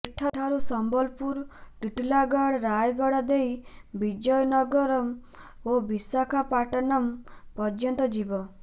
ଏଠାରୁ ସମ୍ୱଲପୁର ଟିଟିଲାଗଡ଼ ରାୟଗଡ଼ା ଦେଇ ବିଜୟନଗ୍ରମ ଓ ବିଶାଖାପାଟନମ୍ ପର୍ଯ୍ୟନ୍ତ ଯିବ